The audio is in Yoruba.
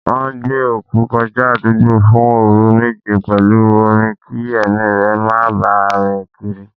Wọn gbé òkú kọjá àdúgbò fún òru méje pẹ̀lú orin kí ẹ̀mí rẹ má bà rìn kiri.